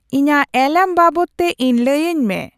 ᱤᱧᱟᱹᱜ ᱮᱞᱟᱨᱢ ᱵᱟᱵᱚᱛᱼᱛᱮ ᱤᱧ ᱞᱟᱹᱭᱟᱹᱧ ᱢᱮ